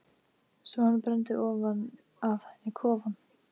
Svo hann brenndi ofan af henni kofann!